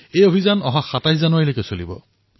এই অভিযান ২৭ জানুৱাৰীলৈ চলিব